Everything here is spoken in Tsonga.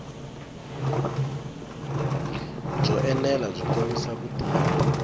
byo enela byi kombisa vutivi